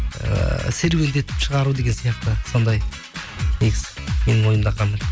ііі серуендетіп шығару деген сияқты сондай негізі менің ойымда